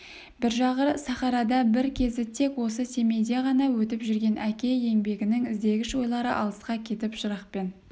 бір жағы сахарада бір кезі тек осы семейде ғана өтіп жүрген әке еңбегінің іздегіш ойлары алысқа кетіп жырақпен